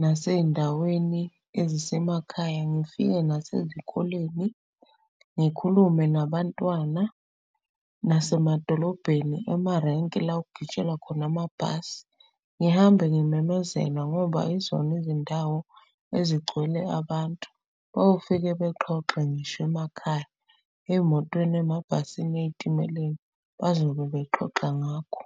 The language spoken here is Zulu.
nasey'ndaweni ezisemakhaya. Ngifike nasezikoleni, ngikhulume nabantwana, nasemadolobheni, emarenki la okugitshelwa khona amabhasi. Ngihambe ngimemezele ngoba izona izindawo ezigcwele abantu. Bayofike bexoxe ngisho emakhaya, ey'motweni, emabhasini, ey'timeleni bazobe bexoxa ngakho.